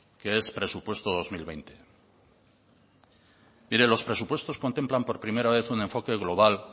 que es presupuesto dos mil veinte mire los presupuestos contemplan por primera vez un enfoque global